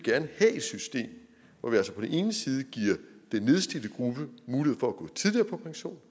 have et system hvor vi altså på den ene side giver den nedslidte gruppe mulighed for at gå tidligere på pension